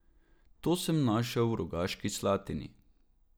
To sem našel v Rogaški Slatini.